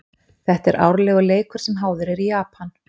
Þetta er árlegur leikur sem háður er í Japan.